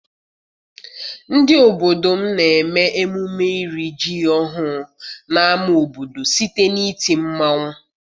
Ndị obodo m na-eme emume iri ji ọhụụ n'ama obodo site n'iti mmanwụ.